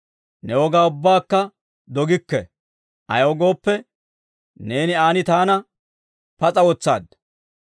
Ne wogaa ubbakka dogikke; ayaw gooppe, neeni an taana pas'a wotsaadda.